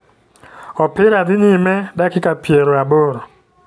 Opira dhi nyime dakika piero aboro.